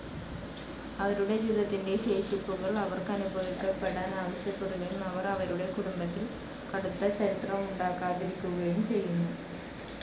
അവരുടെ ജീവിതത്തിന്റെ ശേഷിപ്പുകൾ അവർക്കനുഭവപ്പെടാൻ ആവശ്യപ്പെടുകയും അവർ അവരുടെ കുടുംബത്തിൽ കടുത്ത ചരിത്രമുണ്ടാകാതിരിക്കുകയും ചെയ്യുന്നു.